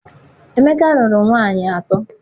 Emeka rụrụ nwaanyị atọ.